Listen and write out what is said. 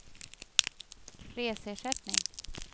reseersättning